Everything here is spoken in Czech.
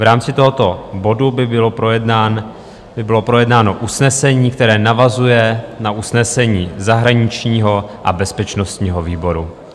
V rámci tohoto bodu by bylo projednáno usnesení, které navazuje na usnesení zahraničního a bezpečnostního výboru.